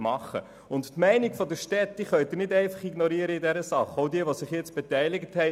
Die Meinung der Städte können Sie in dieser Sache nicht ignorieren, auch nicht derer, die sich jetzt beteiligt haben.